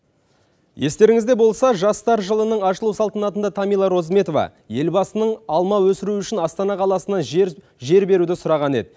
естеріңізде болса жастар жылының ашылу салтанатында тамила розметова елбасының алма өсіру үшін астана қаласынан жер беруді сұраған еді